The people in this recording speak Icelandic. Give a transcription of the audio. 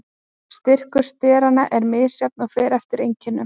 Styrkur steranna er misjafn og fer eftir einkennum.